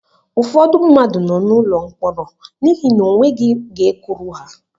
Ụfọdụ mmadụ nọ n'ụlọ mkpọrọ n'ihi na o nweghị ga-ekwuru ha.